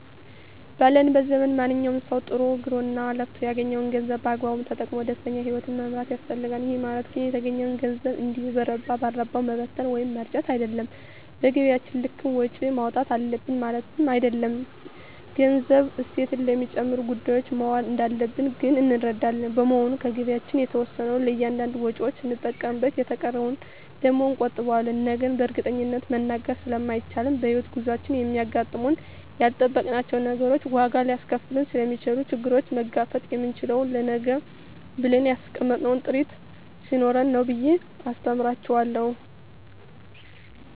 ባለንበት ዘመን ማንኛዉም ሰዉ ጥሮ ግሮእና ለፍቶ ያገኘዉን ገንዘብ በአግባቡ ተጠቅሞ ደስተኛ ህይወትን መምራት ይፈልጋል ይህ ማለት ግን የተገኘዉን ገንዘብ እንዲሁ በረባ ባረባዉ መበተን ወይም መርጨት አይደለም በገቢያችን ልክም ወጪ ማዉጣት አለብን ማለትም አይደለም ገንዘቡ እሴት ለሚጨምሩ ጉዳዮች መዋል እንዳለበት ግን እንረዳለን በመሆኑም ከገቢያችን የተወሰነዉን ለእያንዳንድ ወጪዎች ስንጠቀምበት የተቀረዉን ደግሞ እንቆጥበዋለን ነገን በእርግጠኝነት መናገር ስለማይቻልም በሕይወት ጉዟችን የሚያጋጥሙን ያልጠበቅናቸዉ ነገሮች ዋጋ ሊያስከፍሉን ስለሚችሉ ችግሩን መጋፈጥ የምንችለዉ ለነገ ብለን ያስቀመጥነዉ ጥሪት ስኖረን ነዉ ብየ አስተምራቸዋለሁ